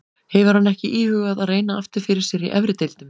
Hefur hann ekki íhugað að reyna aftur fyrir sér í efri deildum?